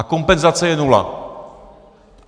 A kompenzace je nula.